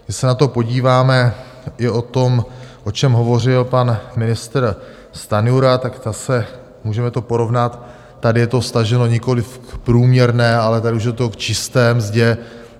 Když se na to podíváme, i o tom, o čem hovořil pan ministr Stanjura, tak zase, můžeme to porovnat, tady je to vztaženo nikoliv k průměrné, ale tady už je to k čisté mzdě.